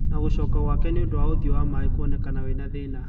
No gũcoka gwake nĩundũ wa Ũthio wa maĩ kuoneka wĩna thĩna.